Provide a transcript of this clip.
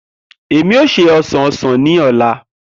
Emi o se osan osan ni ọla.